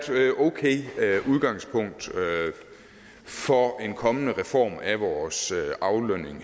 okay udgangspunkt for en kommende reform af vores aflønning